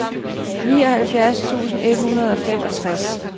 nioghalvfjerds tusind et hundrede og femogtres